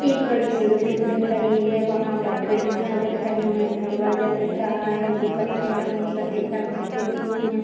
एक बड़ी-सी बिल्डिंग दिख रही है वहाँ पर खिड़कियाँ दिख रहे है दरवाजा दिख रहा है जो कथई रंग और सफेद रंग से पुती हुई है।